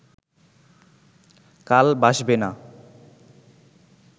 কাল বাসবে না